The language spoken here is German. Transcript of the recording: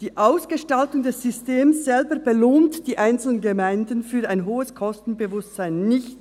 Die Ausgestaltung des Systems selber belohnt die einzelnen Gemeinden für ein hohes Kostenbewusstsein nicht.